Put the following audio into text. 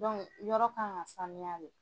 yɔrɔ kan ka sanuya de.